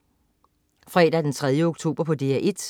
Fredag den 3. oktober - DR 1: